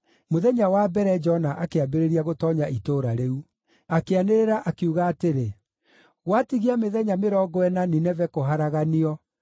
Mũthenya wa mbere Jona akĩambĩrĩria gũtoonya itũũra rĩu. Akĩanĩrĩra, akiuga atĩrĩ, “Gwatigia mĩthenya mĩrongo ĩna Nineve kũharaganio.”